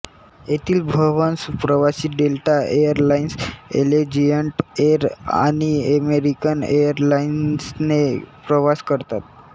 येथील बव्हंश प्रवासी डेल्टा एरलाइन्स अलेजियंट एर आणि अमेरिकन एरलाइन्सने प्रवास करतात